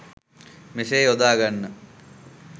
මෙසේ යොදා ගන්න.